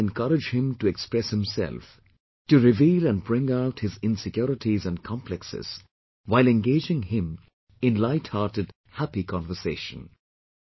Try to encourage him to express himself, to reveal and bring out his insecurities and complexes while engaging him in lighthearted happy conversation